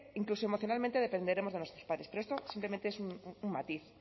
incluso emocionalmente dependeremos de nuestros padres pero esto simplemente es un matiz